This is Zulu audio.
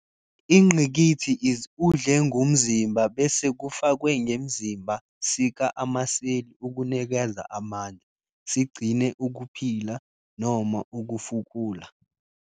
Ingqikithi is udle ngumzimba bese kufakwe ngemzimba sika amaseli ukunikeza amandla, sigcine ukuphila, noma ukufukula.